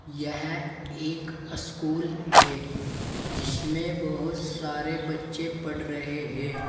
यह एक स्कूल है जिसमें बहोत सारे बच्चे पढ़ रहे हैं।